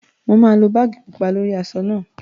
Mo máa lo báàgì pupa lórí aṣọ náà